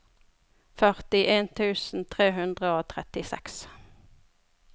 førtien tusen tre hundre og trettiseks